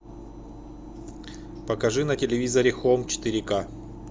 покажи на телевизоре хоум четыре к